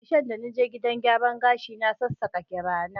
Karshen da na je gidan gyaran gashi, na sassaka gira na.